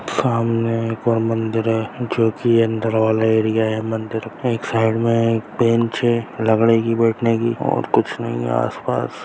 सामने एक और मंदिर है जोकि अंदर वाले एरिया है| मंदिर के एक साइड में एक बेंच है लकड़ी की बैठने की और कुछ नहीं है आस-पास।